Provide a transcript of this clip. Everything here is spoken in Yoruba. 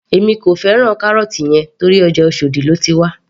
Èmi kò fẹ́ràn carrot yẹn torí ọjà oshòdì lóti wá